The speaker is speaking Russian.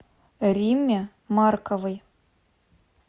римме марковой